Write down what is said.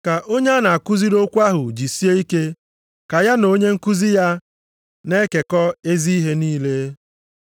Ka onye a na-akụziri okwu ahụ jisie ike ka ya na onye nkuzi ya na-ekekọ ezi ihe niile.